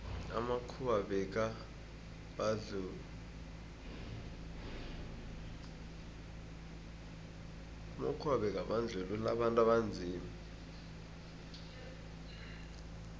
amakhuwa bekabandluua abantu abanzima